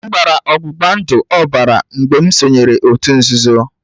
M gbara ọgbụgba ndụ ọbara mgbe m sonyeere òtù nzuzo